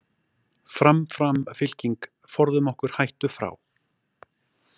„Fram, fram fylking, forðum okkur hættu frá...“